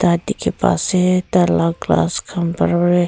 da diki pai ase taila glass kan pera v.